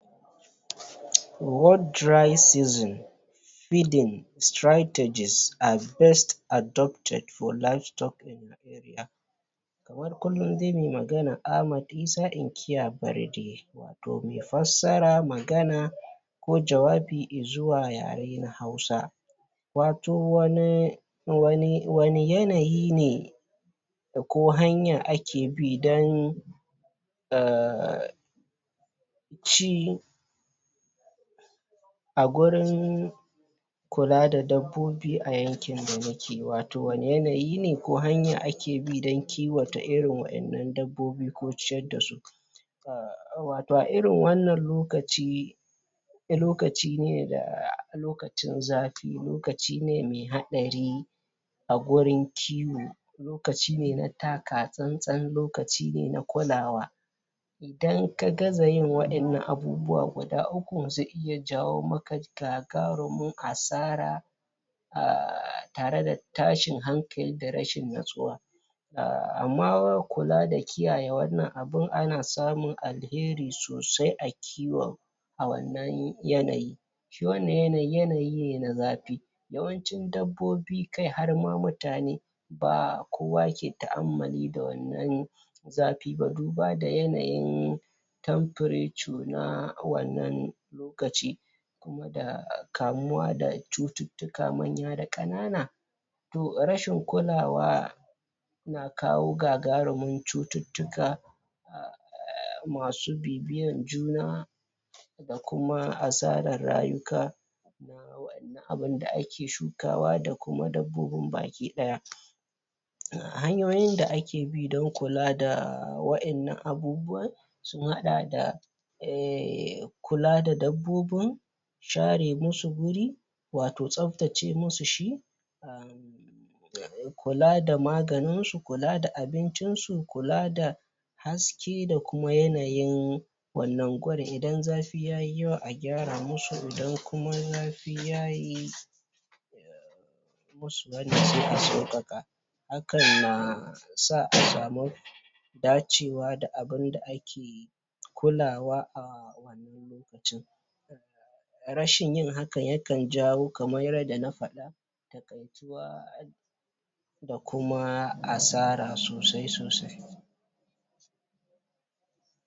What dry season feeding strategies are best adopted for livestock in your area Kamar kullum dai mai magana Ahmad Isa inkiya Barde to mai fassara, magana ko jawabi i zuwa yare na hasua watau wani wani yanayi ne ko hanya ake bi don um ci a gurin kula da dabbobi sa yankin da nake watau wani yanayi ne ko hanya ake bidon kiwata wa'innan dabbobi ko ciyar da su? watau a irin wannan lokaci lokaci ne da lokacin zafi lokaci ne mai haɗari a gurin kiwo lokaci ne na taka tsan-tsan lokaci ne na kulawa idan ka gaza yin wannan abubuwa guda uku zzai iya jawo maka gagarumin asara um tare da tashin hankali da rashin nutsuwa amma kula da kiyaye wannan abun ana samun alheri sosai a kiwon a wannan yanayi wannan yanayi yanayi ne na zafi yawancin dabbobi kai har ma mutane ba kowa ke ta'ammuli da wannan zafi ba duba da yanayin temperature na wannan lokaci da kamuwa da cututtuka manya da ƙanana to rashin kulawa na kawo gagaruman cututtuka? masu bibiyan juna da kuma asaran rayuka abunda ake shukawa da kuma dabbobin baki daya hanyoyin da ake bi don kula da wa'innan abubuwan sun haɗa da um kula da dabbobin share musu guri watau tsaftace musu shi kula da maganinsu kula da abincinsu kula da haske da kuma yanayin wannan gurin idan zafi yayi yawa a gyara musu idan kuma zafi yayi musu wanan sai a sauƙaƙa hakan na sa a samu dacewa da abunda ake kulawa a wannan lokacin rashin yin hakan yakan jawo kaman yadda na faɗa taƙaituwa da kuma asara sosai sosai